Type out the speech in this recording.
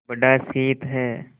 बड़ा शीत है